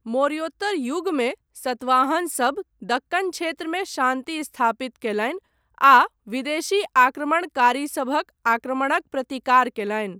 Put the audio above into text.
मौर्योत्तर युगमे सतवाहनसभ दक्कन क्षेत्रमे शान्ति स्थापित कयलनि आ विदेशी आक्रमणकारीसभक आक्रमणक प्रतिकार कयलनि।